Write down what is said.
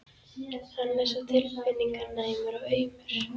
Hann er svo tilfinninganæmur og aumur.